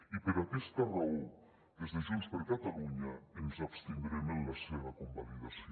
i per aquesta raó des de junts per catalunya ens abstindrem en la seva convalidació